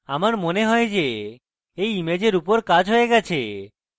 আমার মনে হয় যে এই ইমেজের উপর কাজ হয়ে গেছে